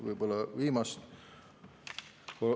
Võib-olla kaks viimast.